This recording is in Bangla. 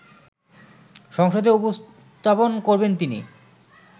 সংসদে উপস্থাপন করবেন তিনি